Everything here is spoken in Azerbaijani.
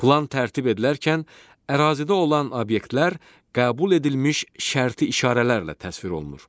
Plan tərtib edilərkən ərazidə olan obyektlər qəbul edilmiş şərti işarələrlə təsvir olunur.